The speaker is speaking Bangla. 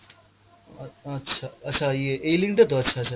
আ~ আচ্ছা, আচ্ছা ইয়ে এই link টা তো! আচ্ছা আচ্ছা।